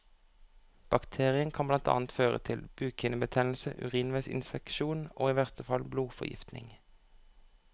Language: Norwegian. Bakterien kan blant annet føre til bukhinnebetennelse, urinveisinfeksjon og i verste fall blodforgiftning.